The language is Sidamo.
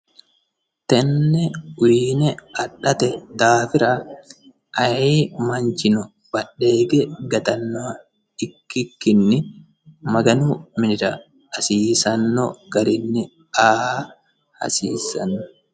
Tenne uyiine adhate daafira ayi manchino badhe hige gatannoha ikkikkinni maganu minira hasiisanno garinni a"a hasiissanno.